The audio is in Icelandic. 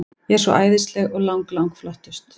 Ég er svo æðisleg og lang, lang flottust.